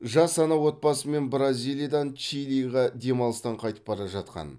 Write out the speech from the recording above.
жас ана отбасымен бразилиядан чилиға демалыстан қайтып бара жатқан